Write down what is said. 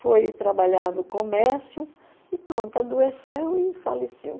Foi trabalhar no comércio e pronto, adoeceu e faleceu.